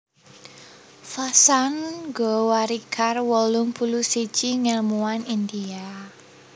Vasant Gowarikar wolung puluh siji ngèlmuwan India